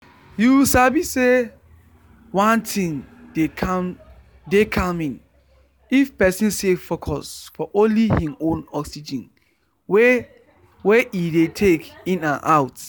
you sabi say one thing dey calming if person stay focus for only hin own oxygen wey wey e dey take in and out.